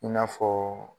I n'a fɔ